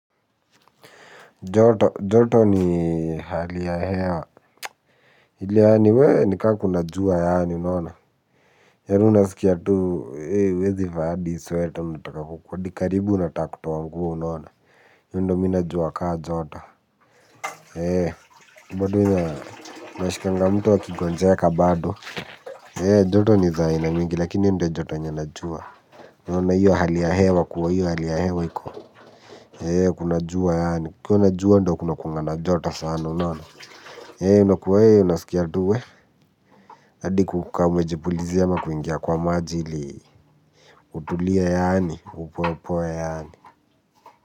Joto, joto ni hali ya hewa, hili yaani wee ni kaa kuna jua yaani nona. Yaan unaskia tu, uwezi vaa hadi sweta mtaka huku, wadikaribu nata kutoa nguo unona iyo ndo mi najua kaa joto. Eee, bado ina mwashikanga mtu akigonjeka bado. Eee, joto ni za ina mingi lakini ndo joto najua. Nona iyo hali ya hewa kuwa, iyo hali ya hewa hiko. Eee, kuna jua yaani, kuna jua ndo kunakuanga na joto sana unona. Hei unakua hei unasikia tu we adi kukuka umejipulizia ama kuingia kwa majili. Utulia yaani, upoe upoe yaani.